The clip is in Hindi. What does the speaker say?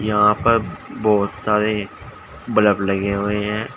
यहां पर बहुत सारे बलब लगे हुए हैं।